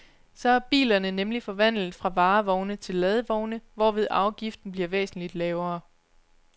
Så er bilerne nemlig forvandlet fra varevogne til ladvogne, hvorved afgiften bliver væsentligt lavere.